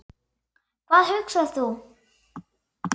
Hvað hugsar þú?